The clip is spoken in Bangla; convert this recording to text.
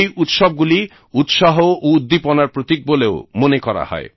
এই উৎসবগুলি উৎসাহ ও উদ্দীপনার প্রতীক বলেও মনে করা হয়